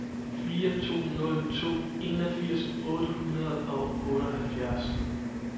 fire to nul to enogfirs otte hundrede og otteoghalvfjerds